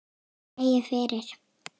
Dregið fyrir.